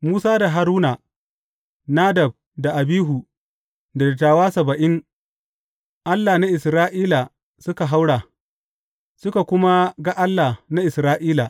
Musa da Haruna, Nadab da Abihu, da dattawa saba’in, Allah na Isra’ila suka haura suka kuma ga Allah na Isra’ila.